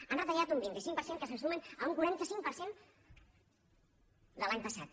han retallat un vint cinc per cent que se suma a un quaranta cinc per cent de l’any passat